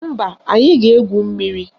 Mba, anyị ga-egwu mmiri